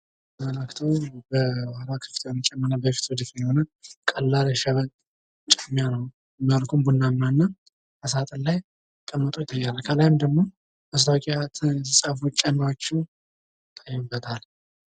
በምስሉ ላይ የምናየው ቀላል የሸበጥ ጫማ ሲሆን፤ መልኩም ቡናማና በሳጥን ላይ የተቀመጠ ጫማ ነው። ከላይም ደግሞ ሌሎች የተለያዩ ጫማዎች ይታዩበታል።